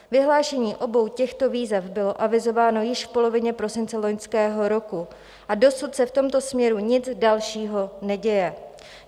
Vyhlášení obou těchto výzev bylo avizováno již v polovině prosince loňského roku a dosud se v tomto směru nic dalšího neděje.